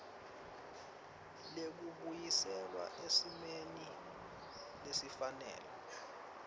lekubuyiselwa esimeni lesifanele